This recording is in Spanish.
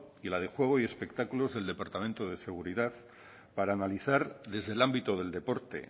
y la de juego y espectáculos del departamento de seguridad para analizar desde el ámbito del deporte